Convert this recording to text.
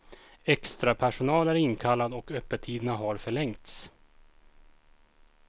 Extra personal är inkallad och öppettiderna har förlängts.